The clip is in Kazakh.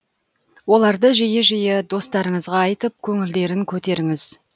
оларды жиі жиі достарыңызға айтып көңілдерін көтеріңіз